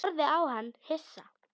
Ég horfði á hann hissa.